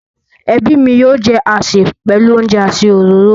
Ẹbí mi yóò jẹ àsè pẹ̀lú oúnjẹ àti òróró.